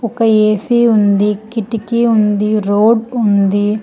ఒక ఏ_సి ఉంది కిటికీ ఉంది రోడ్ ఉంది.